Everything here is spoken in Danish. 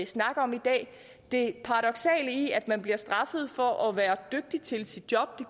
snak om i dag det paradoksale i at man bliver straffet for at være dygtig til sit job